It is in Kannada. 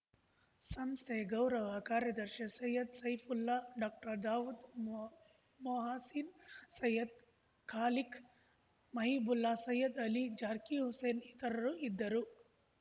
ಸಂಸ್ಥೆ ಗೌರವ ಕಾರ್ಯದರ್ಶಿ ಸೈಯದ್‌ ಸೈಫುಲ್ಲಾ ಡಾಕ್ಟರ್ದಾವೂದ್‌ ಮೊ ಮೊಹಸೀನ್‌ ಸೈಯದ್‌ ಖಾಲಿಕ್‌ ಮಹೀಬುಲ್ಲಾ ಸೈಯದ್‌ ಅಲಿ ಜಾರ್ಕೀ ಹುಸೇನ್‌ ಇತರರು ಇದ್ದರು